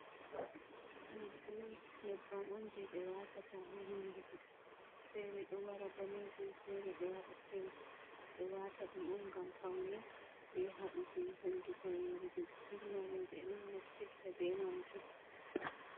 Neblos nyebbam on je ɓe watata ha hunduko fere ɗo wara danejum fere ɗowara pink ɓeɗo wata ɗum om gam paune ɓe haɗugo hunduko yorugo, burna roɓɓe naftirta be majum.